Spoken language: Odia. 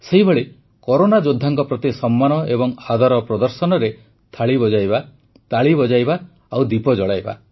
ସେହିଭଳି କରୋନା ଯୋଦ୍ଧାଙ୍କ ପ୍ରତି ସମ୍ମାନ ଏବଂ ଆଦର ପ୍ରଦର୍ଶନରେ ଥାଳି ବଜାଇବା ତାଳି ବଜାଇବା ଆଉ ଦୀପ ଜଳାଇବା